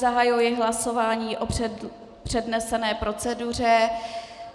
Zahajuji hlasování o přednesené proceduře.